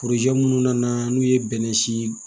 minnu nana n'u ye bɛnɛ si